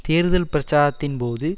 தேர்தல் பிரச்சாரத்தின் போது